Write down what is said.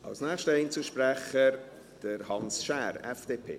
Als nächster Einzelsprecher: Hans Schär, FDP.